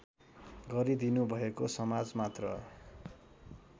गरिदिनुभएको समाज मात्र